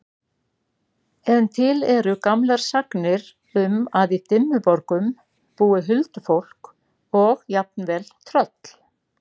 En til eru gamlar sagnir um að í Dimmuborgum búi huldufólk og jafnvel tröll.